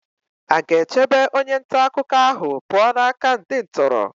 Aga-echebe onye nta akụkọ ahụ pụọ n'aka ndị ntọrọ?